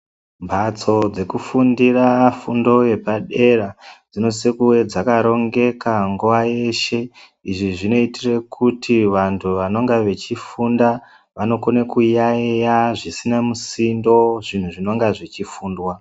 Mhatso dzekufundira fundo yepadera dzinosisirwa kunge dzakarongeka nguwa yeshe izvo zvinoitira kuti vantu vanenge vechifunda vanokone kuyaiya zvisina musindo zvinhu zvinonge zvichifundwa.